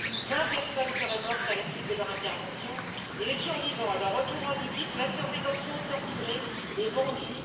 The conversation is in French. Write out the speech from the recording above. Vingt personnes seraient mortes à la suite de leur intervention et les survivants, à leur retour en Libye, auraient été placés en détention, torturés et vendus.